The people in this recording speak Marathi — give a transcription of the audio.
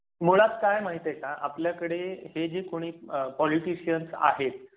मुळात काय माहित आहे का? आपल्याकडे हे जे कोणी पॉलिटिशियन्स आहेत.